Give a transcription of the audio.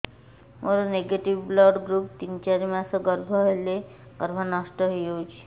ମୋର negative blood group ତିନ ଚାରି ମାସ ଗର୍ଭ ହେଲେ ଗର୍ଭ ନଷ୍ଟ ହେଇଯାଉଛି